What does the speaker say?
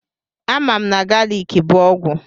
Amam na galiki bụ ọgwụ.